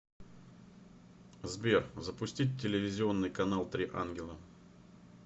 сбер запустить телевизионный канал три ангела